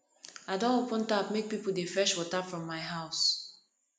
i don open tap make pipo dey fetch water from my house